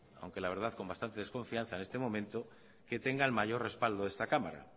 aunque la verdad con bastante desconfianza en este momento que tenga el mayor respaldo de esta cámara